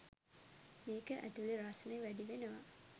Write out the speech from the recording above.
මේක ඇතුළෙ රස්නෙ වැඩි වෙනවා.